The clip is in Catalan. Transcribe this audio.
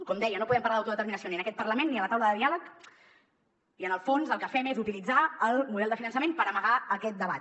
com deia no podem parlar d’autodeterminació ni en aquest parlament ni a la taula de diàleg i en el fons el que fem és utilitzar el model de finançament per ama·gar aquest debat